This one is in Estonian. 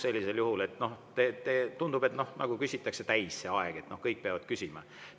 Sellisel juhul tundub, nagu küsitakse aeg täis, et kõik peavad küsima.